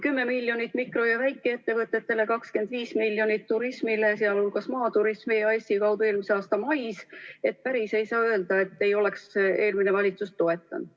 Kümme miljonit mikro- ja väikeettevõtetele, 25 miljonit turismile, sh maaturismile EAS-i kaudu eelmise aasta mais, nii et päris nii ei saa öelda, et eelmine valitsus ei oleks toetanud.